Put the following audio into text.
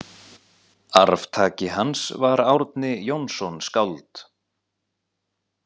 Arftaki hans var Árni Jónsson skáld.